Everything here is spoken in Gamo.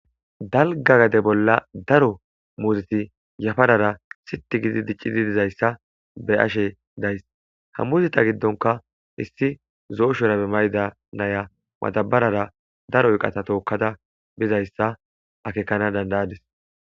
dalga gade bolla daro muziti yafarara siti gidi diccidi dizayssa be ashe days ha muzita giddonka issi zooshorabe mayda naya matabarara daro yqata tookkada bizayssa akekana dandayadis.